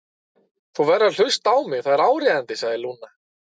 Þú verður að hlusta á mig, það er áríðandi, sagði Lúna.